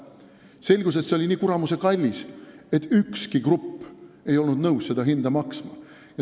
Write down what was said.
Selgus, et see liin oli nii kuramuse kallis, et ükski grupp ei olnud nõus seda hinda maksma.